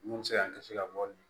Mun bɛ se k'an kisi ka bɔ nin